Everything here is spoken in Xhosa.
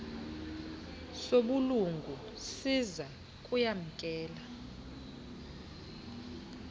sobulungu siza kuyamkela